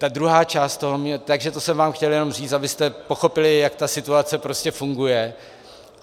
Takže to jsem vám chtěl jenom říct, abyste pochopili, jak ta situace prostě funguje.